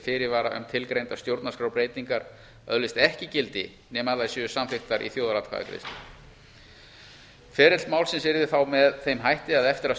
fyrirvara um að tilgreindar stjórnarskrárbreytingar öðlist ekki gildi nema þær séu samþykktar í þjóðaratkvæðagreiðslu ferill málsins yrði þá með þeim hætti að eftir að